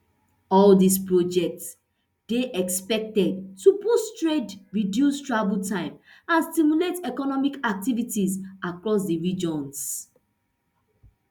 all dis projects dey expected to boost trade reduce travel time and stimulate economic activities across di regions